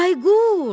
Bayquş!